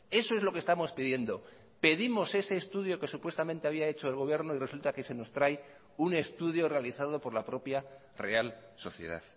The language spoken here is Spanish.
eso es lo que estamos pidiendo pedimos ese estudio que supuestamente había hecho el gobierno y resulta que se nos trae un estudio realizado por la propia real sociedad